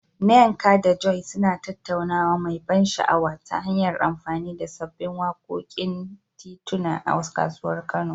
Nneka da Joy suna tattaunawa mai ban sha'awa, ta hanyar amfani da sabbin wakokin tituna a kasuwar Kano.